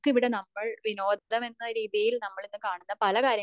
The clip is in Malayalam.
നമുക്കിവിടെ നമ്മൾ വിനോദം എന്ന രീതിയിൽ നമ്മൾ ഇന്ന് കാണുന്ന പല കാര്യങ്ങൾക്കും